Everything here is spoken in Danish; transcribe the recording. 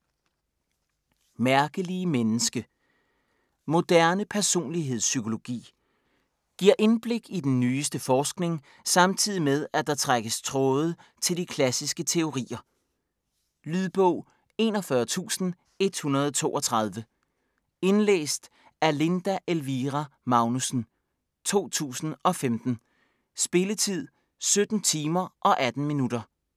Mærkelige menneske Moderne personlighedspsykologi. Giver indblik i den nyeste forskning samtidig med, at der trækkes tråde til de klassiske teorier. Lydbog 41132 Indlæst af Linda Elvira Magnussen, 2015. Spilletid: 17 timer, 18 minutter.